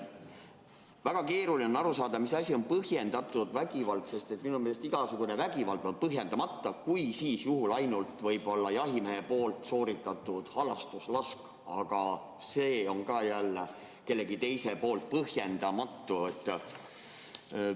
Väga keeruline on aru saada, mis asi on põhjendatud vägivald, sest minu meelest on igasugune vägivald põhjendamatu – kui, siis võib-olla ainult jahimehe sooritatud halastuslask, aga see on jälle kellegi teise poolt põhjendamatu.